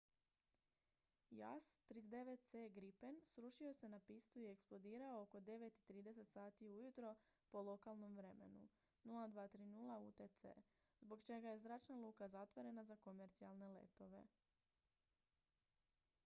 jas 39c gripen srušio se na pistu i eksplodirao oko 9:30 sati ujutro po lokalnom vremenu 0230 utc zbog čeka je zračna luka zatvorena za komercijalne letove